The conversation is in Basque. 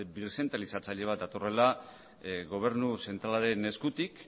birzentralizatzailea bat datorrela gobernu zentralaren eskutik